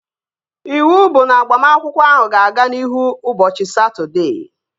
Iwu bụ na agbamakwụkwọ ahụ ga-aga n'ihu ụbọchị Satọdee!